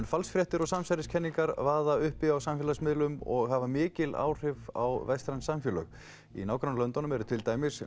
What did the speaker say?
falsfréttir og samsæriskenningar vaða uppi á samfélagsmiðlum og hafa mikil áhrif á vestræn samfélög í nágrannalöndunum eru til dæmis